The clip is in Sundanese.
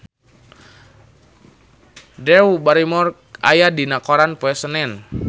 Drew Barrymore aya dina koran poe Senen